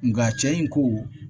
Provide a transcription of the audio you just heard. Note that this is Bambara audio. Nga cɛ in ko